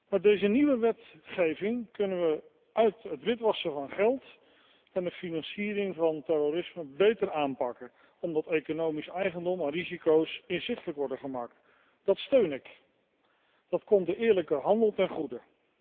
Met deze nieuwe wetgeving kunnen wij het witwassen van geld en de financiering van terrorisme beter aanpakken, omdat economisch eigendom en risico's inzichtelijk worden gemaakt. Dat steun ik. Dat komt de eerlijke handel ten goede.